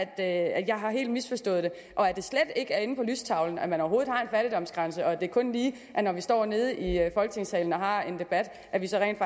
at jeg helt har misforstået det og at det slet ikke er inde på lystavlen at man overhovedet har en fattigdomsgrænse og at det kun lige er når vi står nede i folketingssalen og har en debat at vi så rent